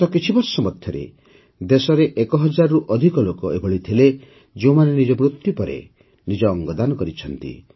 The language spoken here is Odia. ଗତ କିଛିବର୍ଷ ମଧ୍ୟରେ ଦେଶରେ ଏକ ହଜାରରୁ ଅଧିକ ଲୋକ ଏଭଳି ଥିଲେ ଯେଉଁମାନେ ନିଜ ମୃତ୍ୟୁ ପରେ ନିଜ ଅଙ୍ଗଦାନ କରିଛନ୍ତି